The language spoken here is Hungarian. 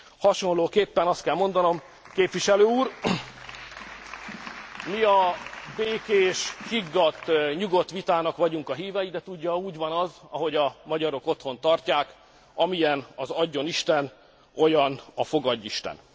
Hasonlóképpen azt kell mondanom, képviselő úr, mi a békés, higgadt, nyugodt vitának vagyunk a hívei, de tudja, úgy van az, ahogy a magyarok otthon tartják amilyen az adjonisten, olyan a fogadjisten!